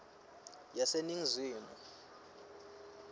yaseningizimu